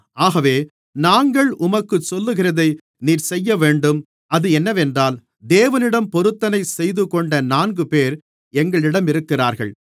ஆகவே நாங்கள் உமக்குச் சொல்லுகிறதை நீர் செய்யவேண்டும் அது என்னவென்றால் தேவனிடம் பொருத்தனை செய்துகொண்ட நான்குபேர் எங்களிடம் இருக்கிறார்கள்